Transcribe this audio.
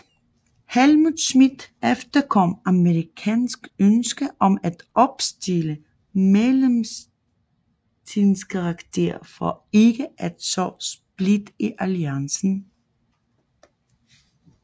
Helmut Schmidt efterkom amerikanernes ønske om at opstille mellemdistanceraketter for ikke at så splid i alliancen